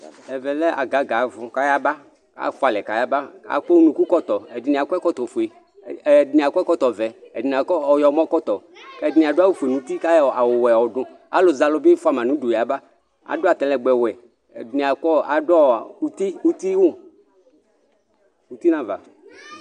Ɛʋɛ agaga 'ɛfu, k'ayaba afualɛ k'ayaba Ak'unuku k'ɔtɔ edini akɔ ekɔtɔfue ɛdini akɔ ɛkɔtɔ ʋɛ ɛdini akɔ ɔyɔmɔ kɔtɔ, ɛdini adu awu fue nuti k'ayɔ awu wɛ yɔdu Alu z'alu bi fuama n'udu yaba, adu atalɛgbɛ 'wɛ ɛdi akɔ adu ɔɔ uti uti wu uti n'aʋa